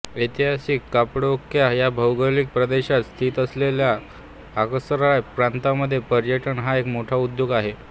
ऐतिहासिक कपाडोक्या ह्या भौगोलिक प्रदेशात स्थित असलेल्या अक्साराय प्रांतामध्ये पर्यटन हा एक मोठा उद्योग आहे